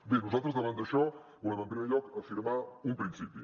bé nosaltres davant d’això volem en primer lloc afirmar un principi